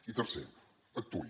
i tercer actuï